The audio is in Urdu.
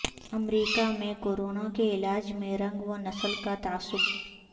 امریکہ میں کورونا کے علاج میں رنگ و نسل کا تعصب